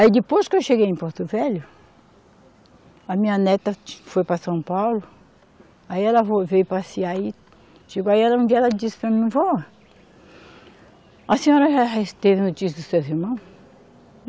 Aí depois que eu cheguei em Porto Velho, a minha neta foi para São Paulo, aí ela vo veio passear e chegou, aí ela um dia ela disse para mim, vó, a senhora já teve notícia dos seus irmãos?